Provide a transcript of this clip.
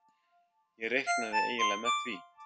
Ég reiknaði eiginlega með því.